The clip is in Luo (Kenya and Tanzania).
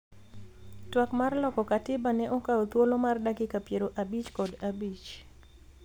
twak mar loko katiba ne okawo thuolo mar dakika piero abich kod abich